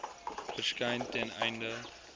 verskyn ten einde